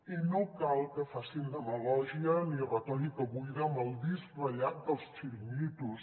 i no cal que facin demagògia ni retòrica buida amb el disc ratllat dels xiringuitos